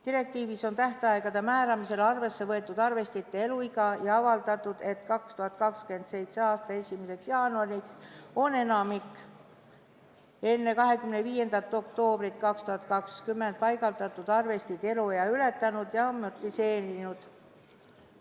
Direktiivis on tähtaegade määramisel arvesse võetud arvestite eluiga ja eeldatud, et 2027. aasta 1. jaanuariks on enamik enne 25. oktoobrit 2020 paigaldatud arvesteid eluea ületanud ja amortiseerunud.